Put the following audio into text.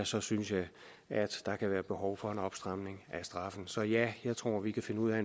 så synes jeg at der kan være behov for en opstramning af straffen så ja jeg tror vi kan finde ud af at